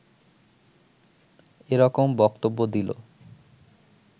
এরকম বক্তব্য দিল